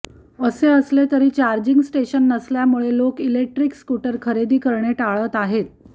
असे असले तरी चार्जिंग स्टेशन नसल्यामुळे लोक इलेक्ट्रिक स्कूटर खरेदी करणे टाळत आहेत